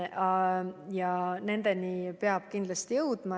Ja nendeni peab kindlasti jõudma.